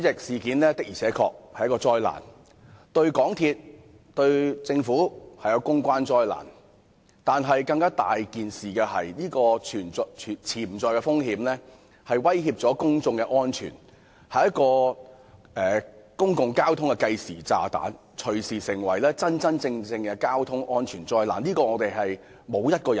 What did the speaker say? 事件確實是一場災難，對港鐵公司和政府來說是公關災難，但更重要是其潛在風險威脅公眾安全，是公共交通的計時炸彈，隨時會變成真正的交通災難。